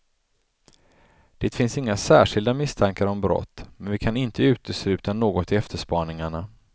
Det finns inga särskilda misstankar om brott, men vi kan inte utesluta något i efterspaningarna.